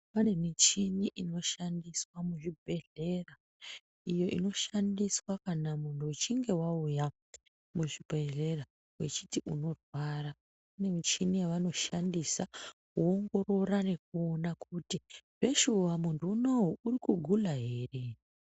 Pane michini inoshandiswa muzvibhedhlera, iyo inoshandiswa kana munhu uchinge wauya muchibhedhlera, uchiti unorwara. Kune michini yavanoshandisa , kuongorora nekuona kuti, zveshuwa munhu unowu uri kugula ere.